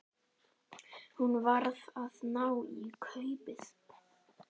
Hún varð að ná í kaupið.